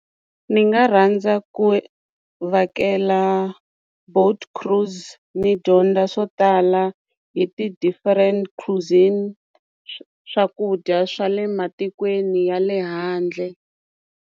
Ni nga rhandza ku vhakela boat cruise ni dyondza swo tala hi ti-different cuisine swakudya swa le matikweni ya le handle.